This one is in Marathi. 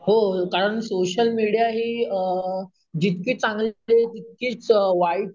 हो कारण सोशल मीडिया हे अम जितके चांगले तितकेच वाईट,